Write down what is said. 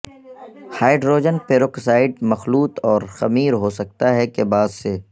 hydrogen peroxide مخلوط اور خمیر ہو سکتا ہے کے بعد سے